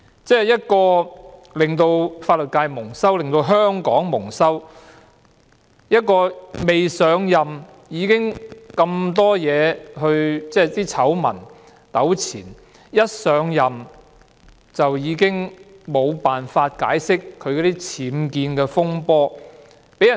她令法律界蒙羞，令香港蒙羞，未上任已是醜聞纏身，而上任後亦無法就僭建風波解釋。